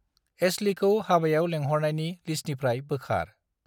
एश्लीखौ हाबायाव लेंहरनायनि लिस्टनिफ्राय बोखार।